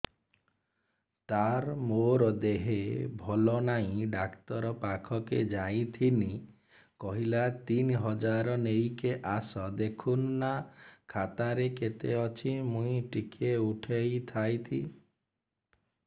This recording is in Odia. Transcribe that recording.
ତାର ମାର ଦେହେ ଭଲ ନାଇଁ ଡାକ୍ତର ପଖକେ ଯାଈଥିନି କହିଲା ତିନ ହଜାର ନେଇକି ଆସ ଦେଖୁନ ନା ଖାତାରେ କେତେ ଅଛି ମୁଇଁ ଟିକେ ଉଠେଇ ଥାଇତି